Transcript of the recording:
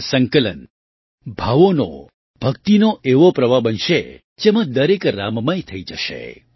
આ સંકલન ભાવોનો ભક્તિનો એવો પ્રવાહ બનશે જેમાં દરેક રામમય થઈ જશે